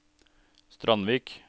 Strandvik